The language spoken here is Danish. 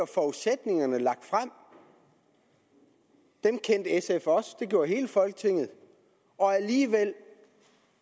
forudsætningerne lagt frem dem kendte sf også det gjorde hele folketinget og alligevel